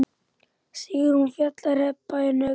Sigrún, Fjalar, Heba og Högni.